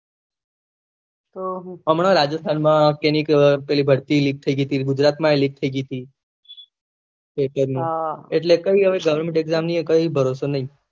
હમણાં Rajasthan પેલી ભરતી એ લીક હતી gujarat માં ભી લીક થઇ હતી એટલે કઈ એ government exam નું કઈ એ ભરોસો નહી